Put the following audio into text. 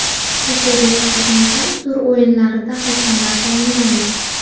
Superliganing so‘nggi tur o‘yinlariga hakamlar tayinlandi.